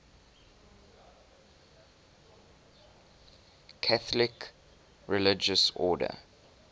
catholic religious order